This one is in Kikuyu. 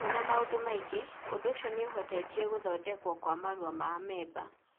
Hamwe na maũndũ mangĩ, ũndũ ũcio nĩ ũhutĩtie gũthondekwo kwa marũa ma amemba,